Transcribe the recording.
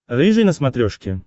рыжий на смотрешке